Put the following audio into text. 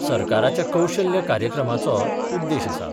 सरकाराच्या कौशल्य कार्यक्रमाचो उद्देश आसा.